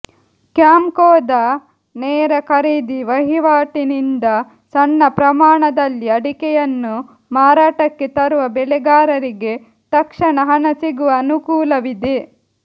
ಕ್ಯಾಂಪ್ಕೊದ ನೇರ ಖರೀದಿ ವಹಿವಾಟಿನಿಂದ ಸಣ್ಣ ಪ್ರಮಾಣದಲ್ಲಿ ಅಡಿಕೆಯನ್ನು ಮಾರಾಟಕ್ಕೆ ತರುವ ಬೆಳೆಗಾರರಿಗೆ ತಕ್ಷಣ ಹಣ ಸಿಗುವ ಅನುಕೂಲವಿದೆ